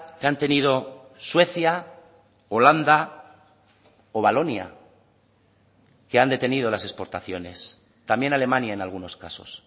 que han tenido suecia holanda o valonia que han detenido las exportaciones también alemania en algunos casos